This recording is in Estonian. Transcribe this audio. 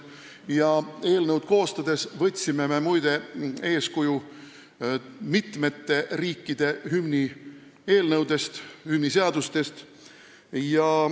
Muide, eelnõu koostades võtsime me eeskuju mitmete riikide hümniseadustest.